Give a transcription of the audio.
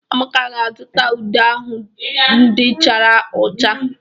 Amaka ga-azụta ude ahụ ndị chara ụcha.